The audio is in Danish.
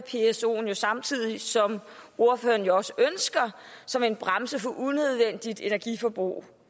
psoen jo samtidig som ordføreren også ønsker som en bremse for unødvendigt energiforbrug